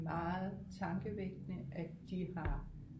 Meget tankevækkende at de har